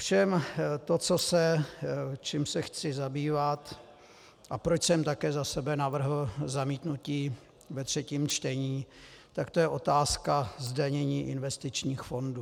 Ovšem to, čím se chci zabývat a proč jsem také za sebe navrhl zamítnutí ve třetím čtení, tak to je otázka zdanění investičních fondů.